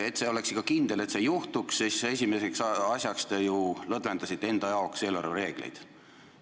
Et oleks ikka kindel, et see juhtuks, te esimese asjana lõdvendasite enda jaoks eelarvereegleid.